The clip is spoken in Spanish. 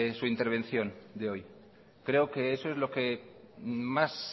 su intervención creo que eso es lo que más